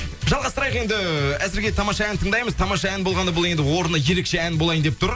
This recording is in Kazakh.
жалғастырайық енді әзірге тамаша ән тыңдаймыз тамаша ән болғанда бұл енді орны ерекше ән болайын деп тұр